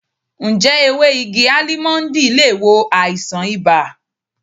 Ǹjẹ́ ewé igi Álímọ́ńdì le wo àìsàn ibà?